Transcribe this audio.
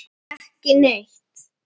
Ekki neitt?